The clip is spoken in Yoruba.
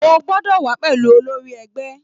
O gbọ́dọ̀ wà á pẹ̀lú olórí ẹgbẹ́